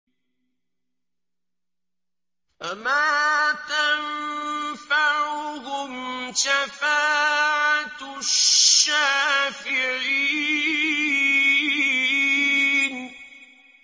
فَمَا تَنفَعُهُمْ شَفَاعَةُ الشَّافِعِينَ